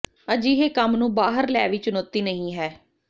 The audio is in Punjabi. ਅਜਿਹੇ ਕੰਮ ਨੂੰ ਬਾਹਰ ਲੈ ਵੀ ਚੁਣੌਤੀ ਨਹੀ ਹੈ